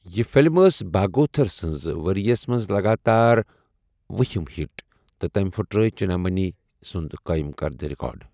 یہِ فلم ٲسۍ بھاگوتھر سنٛز ورۍ یَس منٛز لگاتار وُہِم ہٹ تہٕ تٔمۍ پٔھٹرٲے چنتامنی سنٛد قٲئم کردٕ رِکارڈ۔